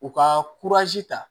U ka ta